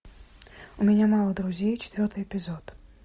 у меня мало друзей четвертый эпизод